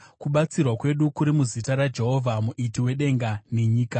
Kubatsirwa kwedu kuri muzita raJehovha, Muiti wedenga nenyika.